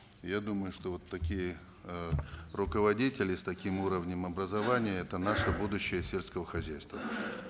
я думаю что вот такие э руководители с таким уровнем образования это наше будущее сельского хозяйства